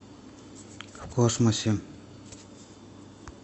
в космосе